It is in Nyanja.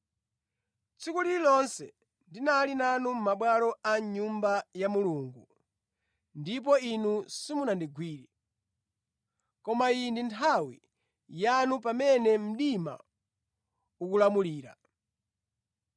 Tsiku lililonse ndinali nanu mʼmabwalo a mʼNyumba ya Mulungu ndipo inu simunandigwire. Koma iyi ndi nthawi yanu pamene mdima ukulamulira.”